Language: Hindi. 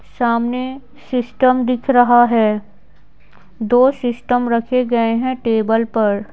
सामने सिस्टम दिख रहा है दो सिस्टम रखे गए हैं टेबल पर।